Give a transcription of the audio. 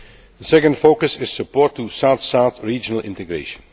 The second focus is support for south south regional integration.